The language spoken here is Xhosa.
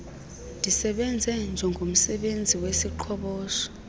ndisebenze njengomsebenzi weziqhoboshi